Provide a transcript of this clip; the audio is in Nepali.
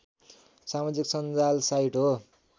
समाजिक सञ्जाल साइट हो